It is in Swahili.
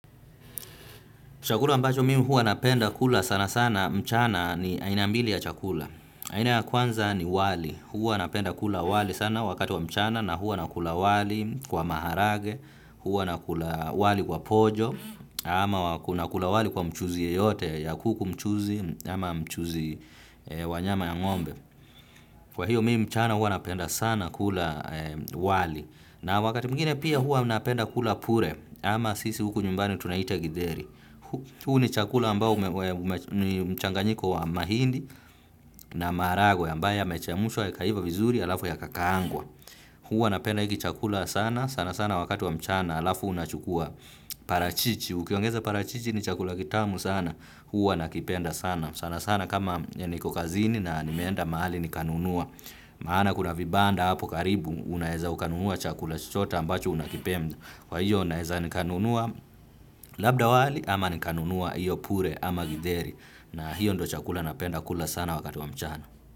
Chakula ambacho mimi huwa napenda kula sana sana mchana ni aina mbili ya chakula. Aina ya kwanza ni wali. Huwa napenda kula wali sana wakati wa mchana na huwa na kula wali kwa maharagwe, huwa na kula wali kwa pojo, ama wa na kula wali kwa mchuzi yeyote, ya kuku mchuzi, ama mchuzi wa nyama ya ngombe. Kwa hiyo mimi mchana huwa napenda sana kula wali. Na wakati mwingine pia huwa napenda kula pure, ama sisi huku nyumbani tunaita githeri. Huu ni chakula ambao una mchanganyiko wa mahindi na maharagwe ambaye yamechemshwa yakaiva vizuri alafu yaka kaangwa. Huwa napenda hiki chakula sana sana sana wakati wa mchana alafu unachukuwa parachichi. Ukiongeza parachichi ni chakula kitamu sana huwa nakipenda sana sana sana kama niko kazini na nimeenda mahali nikanunua. Maana kuna vibanda hapo karibu unaweza ukanunua chakula chochote ambacho unakipenda. Kwa hiyo naweza nikanunuwa labda wali ama nikanunuwa hiyo pure ama githeri na hiyo ndiyo chakula napenda kula sana wakati wa mchana.